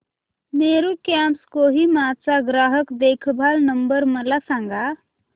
Meru cabs Kohima चा ग्राहक देखभाल नंबर मला सांगा